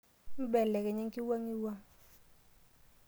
Imbelekenya enkiwang'uwang.